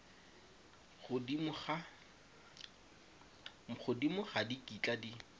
godimo ga di kitla di